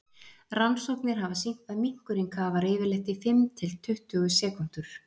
rannsóknir hafa sýnt að minkurinn kafar yfirleitt í fimm til tuttugu sekúndur